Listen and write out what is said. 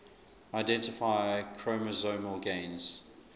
identify chromosomal gains